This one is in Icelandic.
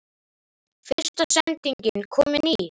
Fyrsta sendingin komin í?